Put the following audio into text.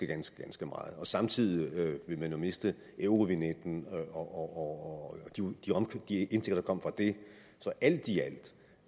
ganske ganske meget samtidig ville man jo miste eurovignetten og de indtægter der kom fra det så alt